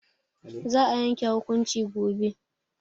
Za a yanke hukunci gobe.